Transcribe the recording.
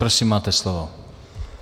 Prosím, máte slovo.